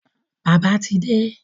Bàbá ti de